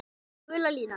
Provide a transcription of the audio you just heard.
Gula línan.